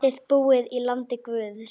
Þið búið í landi guðs.